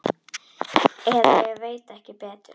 Eða ég veit ekki betur.